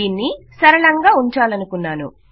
దీనిని సరళంగా ఉంచాలనుకున్నాను